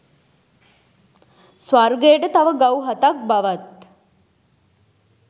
ස්වර්ගයට තව ගව් හතක් බවත්